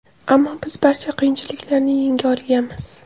Ammo biz barcha qiyinchiliklarni yenga olganmiz.